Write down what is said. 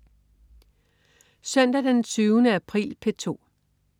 Søndag den 20. april - P2: